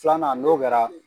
Filanan n'o kɛra.